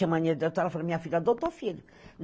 tinha mania de falar, minha filha adotou filho.